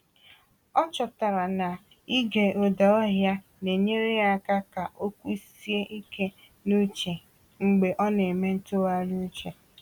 Ọ chọtara na ịge ụda ọhịa na-enyere ya aka ka o kwụsie ike n’uche mgbe ọ na-eme ntụgharị uche.